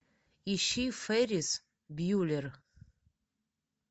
ищи феррис бьюллер